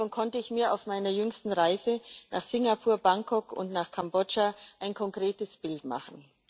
Davon konnte ich mir auf meiner jüngsten Reise nach Singapur, Bangkok und nach Kambodscha ein konkretes Bild machen.